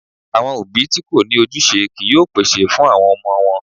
Àwọn òbí tí kò ní ojúṣe kìí yóò pèsè fún àwọn ọmọ wọn.